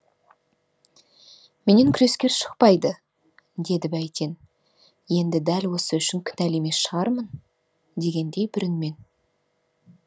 менен күрескер шықпайды деді бәйтен енді дәл осы үшін кінәлі емес шығармын дегендей бір үнмен